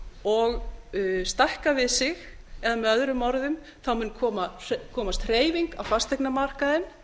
og stækkað við sig eða möo mun þá komast hreyfing á fasteignamarkaðinn